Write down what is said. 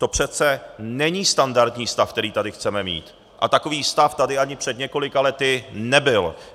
To přece není standardní stav, který tady chceme mít, a takový stav tady ani před několika lety nebyl.